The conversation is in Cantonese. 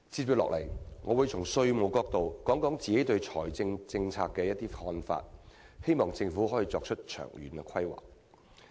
接下來，我會從稅務角度提出我個人對財政政策的一些看法，希望政府能夠作出長遠的規劃。